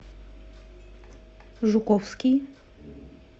жуковский